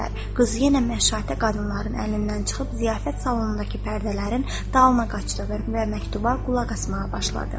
Qız yenə məşşatə qadınlarının əlindən çıxıb ziyafət salonundakı pərdələrin dalına qaçdı və məktuba qulaq asmağa başladı.